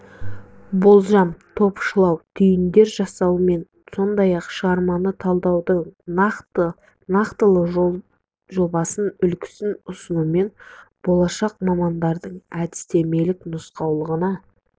болжам топшылау түйіндер жасауымен сондай-ақ шығарманы талдаудың нақтылы жол-жобасын үлгісін ұсынуымен болашақ мамандардың әдістемелік нұсқаулығына